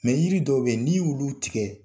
Mɛ yiri dɔ bɛ n'i y'i olu tigɛ?